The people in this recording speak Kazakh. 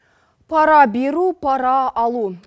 пара беру пара алу